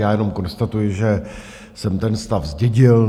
Já jenom konstatuji, že jsem ten stav zdědil.